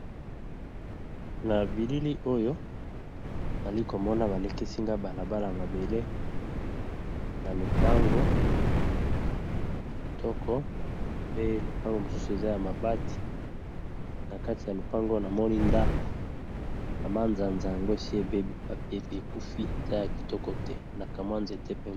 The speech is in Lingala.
Na bilili oyo nali ko mona ba lakisi nga balabala mabele na lupango ya kitoko pe lupango mosusu eza ya mabati . Na kati ya lupango na moni ndako na manzanza yango esi ebbi, ekufi eza ya kitoko te na kamwa nzete pembe .